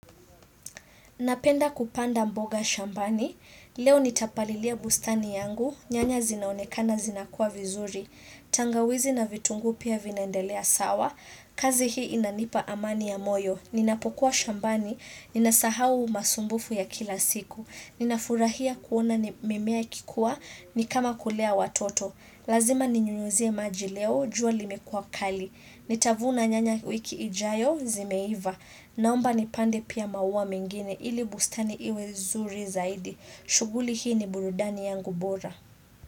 Napenda kupanda mboga shambani, leo nitapalilia bustani yangu, nyanya zinaonekana zinakuwa vizuri, tangawizi na vitunguu pia vinaendelea sawa, kazi hii inanipa amani ya moyo, ninapokuwa shambani, ninasahau masumbufu ya kila siku, ninafurahia kuona mimea ikikuwa, nikama kulea watoto. Lazima ninyunyuzie maji leo, jua limekua kali. Nitavuna nyanya wiki ijayo, zimeiva. Naomba ni pande pia maua mengine, ili bustani iwe zuri zaidi. Shughuli hii ni burudani yangu bora.